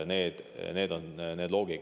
Selline on see loogika.